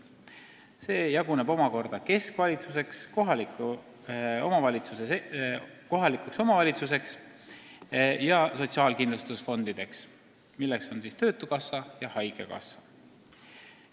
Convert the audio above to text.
See jaguneb omakorda keskvalitsuseks, kohalikuks omavalitsuseks ja sotsiaalkindlustusfondideks, milleks on siis töötukassa ja haigekassa.